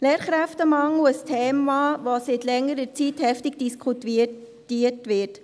Lehrkräftemangel – ein Thema, das seit längerer Zeit heftig diskutiert wird.